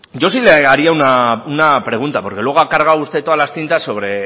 yo sí le haría una pregunta porque luego ha cargado usted todas las tintas sobre